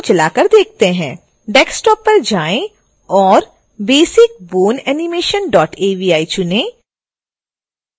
desktop पर जाएँ और basicboneanimation avi चुनें